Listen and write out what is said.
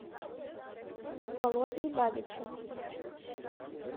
володей бабичем